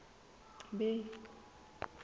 bay